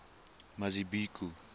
mazibuko